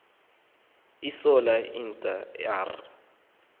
iintlola esa r